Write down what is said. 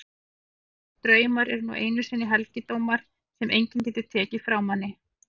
Hugsun og draumar eru nú einu sinni helgidómar sem enginn getur tekið frá manni.